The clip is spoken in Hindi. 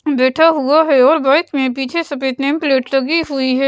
म बैठा हुआ है और बाइक में पीछे सफेद नेम प्लेट लगी हुई है।